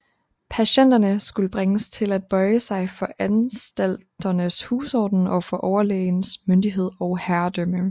Patienterne skulle bringes til at bøje sig for anstalternes husorden og for overlægens myndighed og herredømme